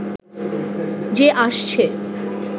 যে আসছে